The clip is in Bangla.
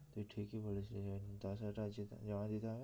তুই ঠিকই বলেছিলিস ভাই দোষ হাজার টাকা জমা দিতে হবে